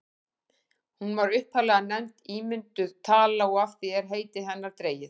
hún var upphaflega nefnd ímynduð tala og af því er heiti hennar dregið